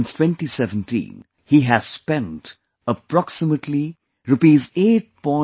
Since 2017, he has spent approximately Rs 8